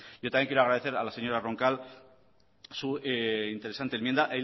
yo también quiero agradecer a la señora roncal su interesante enmienda